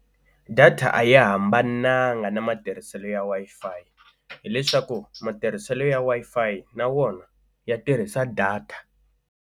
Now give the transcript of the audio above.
Data a yi hambananga na matirhiselo ya Wi-Fi hileswaku matirhiselo ya Wi-Fi na wona ya tirhisa data.